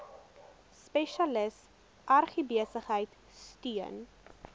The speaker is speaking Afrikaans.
spesialis agribesigheid steun